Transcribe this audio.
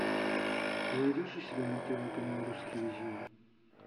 ты найдешь у себя на тв канал русский иллюзион